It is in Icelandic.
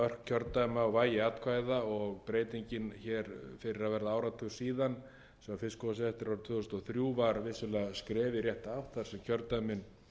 kjördæma og vægi atkvæða og breytingin fyrir að verða áratug síðan þegar fiskskotsréttur árið tvö þúsund og þrjú var vissulega skref í rétta átt þar sem kjördæmin voru